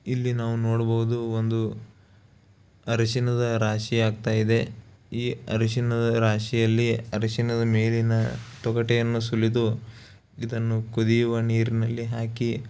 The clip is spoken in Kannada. ಇಲ್ಲಿ ನಾವು ನೋಡಬಹುದು ಒಂದು ಅರಿಶಿಣದ ರಾಶಿ ಆಗ್ತಾ ಇದೆ ಈ ಅರಿಶಿಣದ ರಾಶಿಯಲ್ಲಿ ಅರಿಶಿಣದ ಮೇಲಿನ ತೊಗೋಟೆಯನ್ನು ಸುಲಿದು ಇದನ್ನು ಕುದಿಯುವ ನೀರಿನಲ್ಲಿ ಹಾಕಿ --